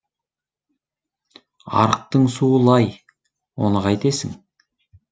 арықтың суы лай оны қайтесің